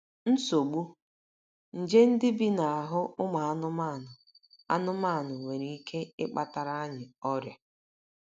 NSOGBU: Nje ndị bi n’ahụ́ ụmụ anụmanụ anụmanụ nwere ike ịkpatara anyị ọrịa.